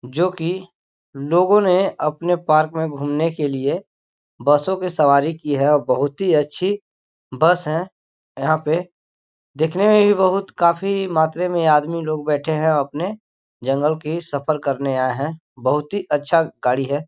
जोकि लोगो ने अपनें पार्क में घुमने के लिए बसों की सवारी की है और बहुत ही अच्छी बस है यहाँ पे देखने में भी बहुत काफ़ी मात्रे में आदमी लोग बैठे है अपने जंगल की सफ़र करने आऐ है बहुत ही अच्छा गाड़ी है।